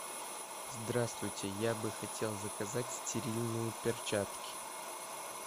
здравствуйте я бы хотел заказать стерильные перчатки